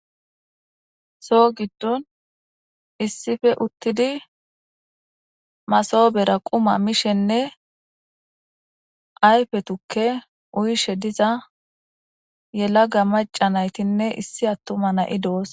Soo giddon issife uttidi masobera quma mishenne ayfetukke uyishe diza yelaga maca naytinne issi attuma na'i do'os.